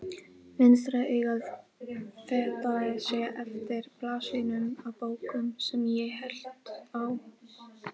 Vinstra augað fetaði sig eftir blaðsíðunum á bók sem ég hélt á.